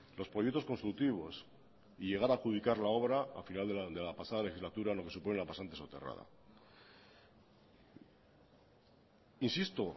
los proyectos constructivos y llegar a adjudicar la obra al final de la pasada legislatura lo que supone la pasante soterrada insisto